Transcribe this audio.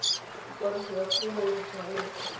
ikwadiso ya kumo di tshwanetse